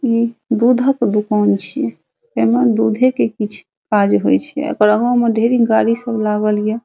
इ दुधक दुकान छीये ऐमे दूधे के कीछ काज होय ये एकर आगे मे ढेरी गाड़ी सब लागल ये।